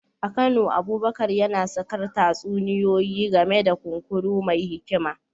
A Kano, Abubakar yana sakar tatsuniyoyi game da kunkuru mai hikima.